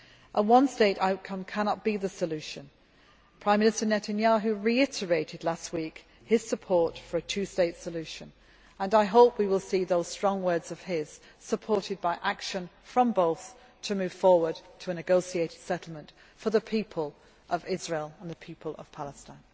A one state outcome cannot be the solution. Prime Minister Netanyahu reiterated last week his support for a two state solution, and I hope we will see those strong words of his supported by action from both sides to move forward to a negotiated settlement for the people of Israel and the people of Palestine.